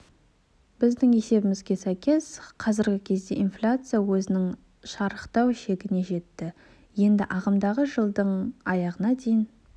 біздің есебімізге сәйкес қазіргі кезде инфляция өзінің шарықтау шегіне жетті енді ағымдағы жылдың аяғына дейін